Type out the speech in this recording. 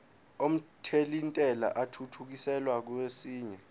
omthelintela athuthukiselwa kwesinye